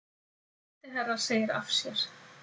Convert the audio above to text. Sendiherra segir af sér